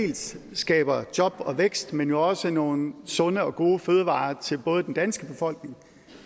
skaber job og vækst men jo også nogle sunde og gode fødevarer til både den danske befolkning